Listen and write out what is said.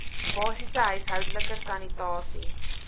basiese huishoudelike sanitasie